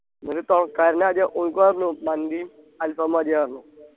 എന്നിട്ട് ആദ്യം ഓനിക്ക് പറഞ്ഞു മന്തീം അൽഫാമും മതി പറഞ്ഞു